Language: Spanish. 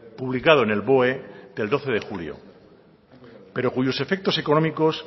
publicado en el boe del doce de julio pero cuyos efectos económicos